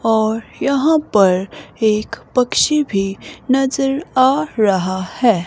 और यहाँ पर एक पक्षी भी नजर आ रहा है।